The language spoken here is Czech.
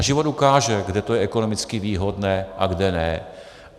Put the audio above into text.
A život ukáže, kde to je ekonomicky výhodné a kde ne.